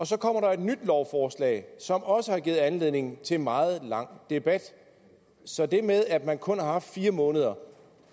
så kommer der et nyt lovforslag som også har givet anledning til meget lang debat så det med at man kun har haft fire måneder